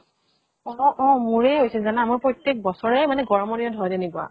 অ অ । মোৰেই হৈছিল জানা । মই প্ৰত্যেক বছৰে মানে গৰমৰ দিনত হয় তেনেকুৱা ।